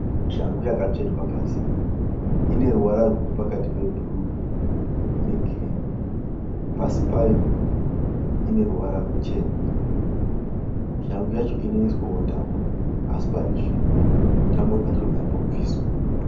Shangu yakasvetwa pasi. Ineruvara ruripakati pebhuru ne girini. Pasi payo ineruvara ruchena. Shangu yacho inoiswa tambo, asiparizvino tambo dzacho dzambo bviswa.